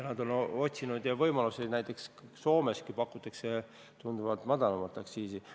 Nad on otsinud muid võimalusi, näiteks Soomeski pakutakse tunduvalt madalamat aktsiisi.